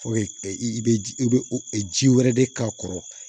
i bɛ ji i bɛ ji wɛrɛ de k'a kɔrɔ